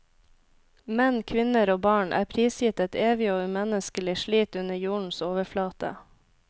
Menn, kvinner og barn er prisgitt et evig og umenneskelig slit under jordens overflate.